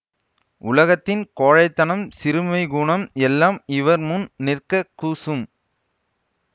உலகத்தின் கோழைத்தனம் சிறுமைக்குணம் எல்லாம் இவர் முன் நிற்க கூசும்